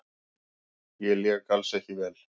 Ég lék alls ekki vel.